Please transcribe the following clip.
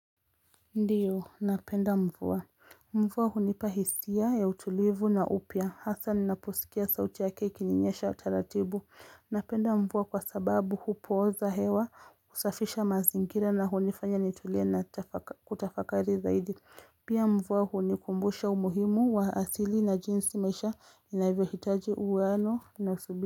Ndiyo, napenda mvua. Mvua hunipa hisia ya utulivu na upya. Hasa ninaposikia sauti yake ikininyesha utaratibu. Napenda mvua kwa sababu hupoza hewa usafisha mazingira na hunifanya nitulia na kutafakari zaidi. Pia mvua hunikumbusha umuhimu wa asili na jinsi maisha inavyo hitaji uweano na subira.